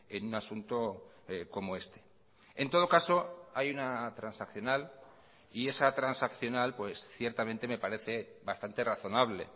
en un asunto como este en todo caso hay una transaccional y esa transaccional ciertamente me parece bastante razonable